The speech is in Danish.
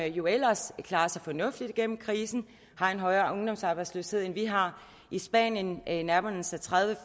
jo ellers klarer sig fornuftigt igennem krisen har en højere ungdomsarbejdsløshed end vi har i spanien nærmer den sig tredive